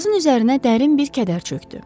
Qızcığazın üzərinə dərin bir kədər çökdü.